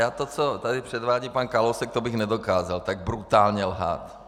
Já to, co tady předvádí pan Kalousek, to bych nedokázal - tak brutálně lhát.